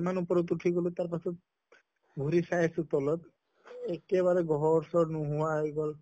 ইমান ওপৰত উঠি হʼলো তাৰ পাছত ঘুৰি চাই আছো তলত একেবাৰে ঘৰ চৰ নোহোৱা হৈ গʼল।